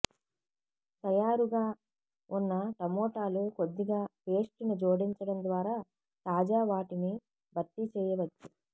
తయారుగా ఉన్న టమోటాలు కొద్దిగా పేస్ట్ ను జోడించడం ద్వారా తాజా వాటిని భర్తీ చేయవచ్చు